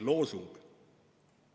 Selline loosung.